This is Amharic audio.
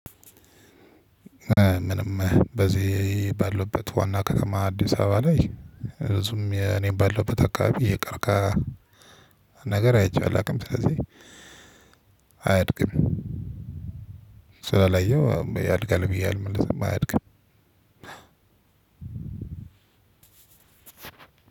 ምንም በዚህ ባለውበት ዋና ከተማ አዲስ አበባ ላይ ርዕሱም የኔን ባለውበት አካባቢ ቀርቀሃ ነገር አይቼዋለሁ አቅም ስለዚህ አያድግም። ስላላየሁ ያድጋል ብየ አልልም አያድግም።